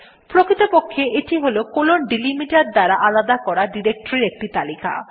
প্রকৃতপক্ষে এইটি160 কোলন ডেলিমিটের দ্বারা আলাদা করা ডিরেক্টরীর একটি তালিকা